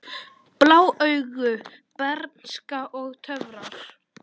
Blá augu, bernska og töfrar